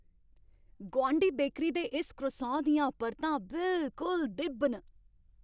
गोआंढी बेकरी दे इस क्रोसान दियां परतां बिलकुल दि'ब्ब न।